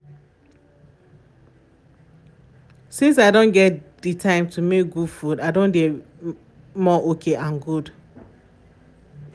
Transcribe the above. since i don get the time to make good food i don dey more okay and good